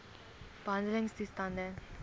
behandeltoestande